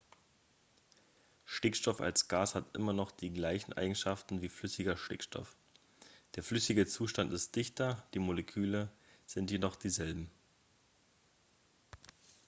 stickstoff als gas hat immer noch die gleichen eigenschaften wie flüssiger stickstoff der flüssige zustand ist dichter die moleküle sind jedoch dieselben